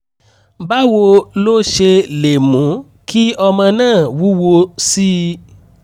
báwo lo ṣe lè mú kí ọmọ náà wúwo sí i?